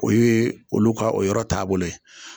O yee olu ka o yɔrɔ taabolo ye